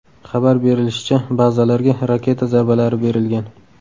Xabar berilishicha, bazalarga raketa zarbalari berilgan.